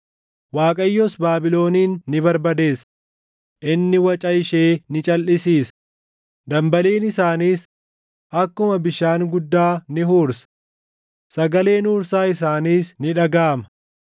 Waaqayyos Baabilonin ni barbadeessa; inni waca ishee ni calʼisiisa, dambaliin isaaniis akkuma bishaan guddaa ni huursa; sagaleen huursaa isaaniis ni dhagaʼama.